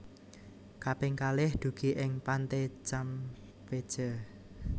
Kaping kalih dugi ing Pante Campeche